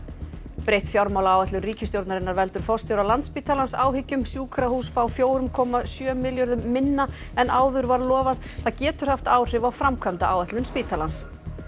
breytt fjármálaáætlun ríkisstjórnarinnar veldur forstjóra Landspítalans áhyggjum sjúkrahús fá fjögur komma sjö milljörðum minna en áður var lofað það getur haft áhrif á framkvæmdaáætlun spítalans